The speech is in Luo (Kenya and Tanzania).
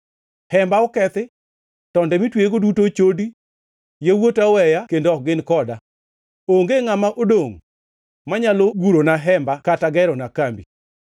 Hemba okethi; tonde mitweyego duto ochodi. Yawuota oweya kendo ok gin koda; onge ngʼama odongʼ manyalo gurona hemba kata gerona kambi.